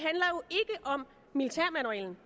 om militærmanualen